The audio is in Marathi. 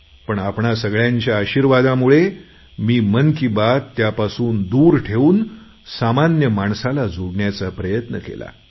पण आपणा सगळ्यांच्या आशीर्वादामुळे मी मन की बात त्यापासून दूर ठेवून सामान्य माणसाला जोडण्याचा प्रयत्न केला